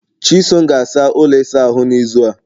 chisom ga-asa ụlọ ịsa ahụ n'izu a